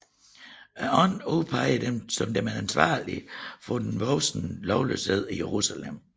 Ånden udpegede dem som ansvarlige for den voksende lovløshed i Jerusalem